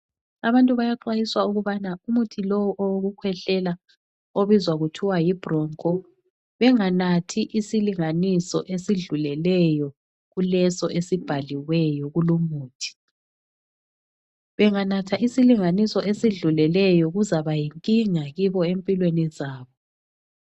Abantu bayaxwayiswa ukubana umuthi lowo owokukhwehlela obizwa kuthwa yiBroncho benganathi isilinganiso esidluleleyo kuleso esibhaliweyo kulumuthi. Benganatha isilinganiso esidluleleyo kuzaba yinkinga kibo empilweni zabo.